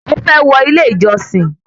Ó fẹ́ wọ ilé ìjọsìn